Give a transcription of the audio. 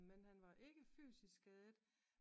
Men han var ikke fysisk skadet